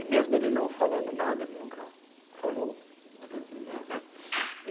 E mesmo ele não falando nada, ele nunca falou né.